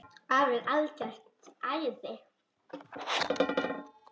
Afi er algert æði.